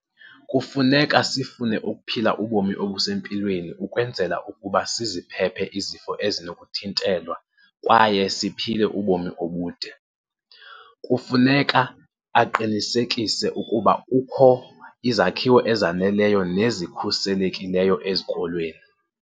Kufuneka sifune ukuphila ubomi obusempilweni ukwenzela ukuba siziphephe izifo ezinokuthintelwa kwaye siphile ubomi obude. Kufuneka aqinisekise ukuba kukho izakhiwo ezaneleyo nezikhuselekileyo ezikolweni.